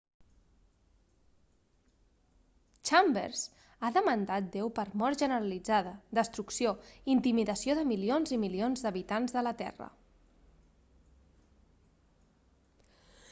chambers ha demandat déu per mort generalitzada destrucció i intimidació de milions i milions d'habitants de la terra